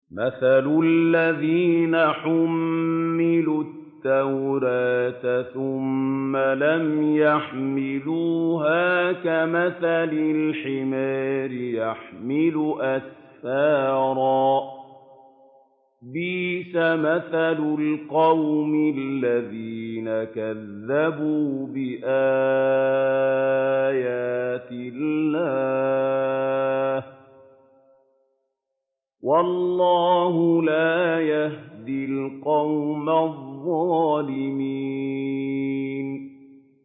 مَثَلُ الَّذِينَ حُمِّلُوا التَّوْرَاةَ ثُمَّ لَمْ يَحْمِلُوهَا كَمَثَلِ الْحِمَارِ يَحْمِلُ أَسْفَارًا ۚ بِئْسَ مَثَلُ الْقَوْمِ الَّذِينَ كَذَّبُوا بِآيَاتِ اللَّهِ ۚ وَاللَّهُ لَا يَهْدِي الْقَوْمَ الظَّالِمِينَ